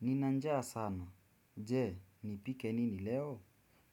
Nina njaa sana. Jee, nipike nini leo?